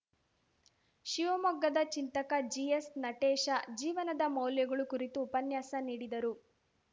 ಶಿವಮೊಗ್ಗದ ಚಿಂತಕ ಜಿಎಸ್‌ನಟೇಶ ಜೀವನದ ಮೌಲ್ಯಗಳು ಕುರಿತು ಉಪನ್ಯಾಸ ನೀಡಿದರು